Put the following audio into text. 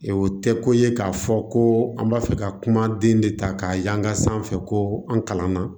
O tɛ ko ye k'a fɔ ko an b'a fɛ ka kuma den de ta k'a yan ka sanfɛ ko an kalan na